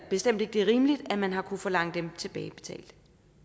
bestemt ikke det er rimeligt at man har kunnet forlange dem tilbagebetalt